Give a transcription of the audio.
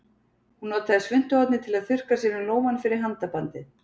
Hún notaði svuntuhornið til að þurrka sér um lófann fyrir handabandið.